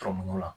Tɔmɔnin na